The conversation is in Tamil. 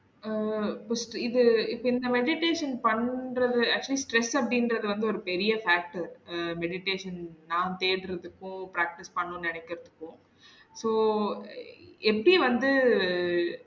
அஹ் First உ இது இப்ப இந்த meditation பண்றது actually stress அப்டிங்குறது வந்து ஒரு பெரிய fact உ அஹ் meditation நா தேடுறதுக்கும் practice பண்ணனும் நினைக்குறதுக்கும் so எப்படி வந்து